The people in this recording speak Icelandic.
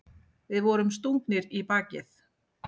Við vorum stungnir í bakið.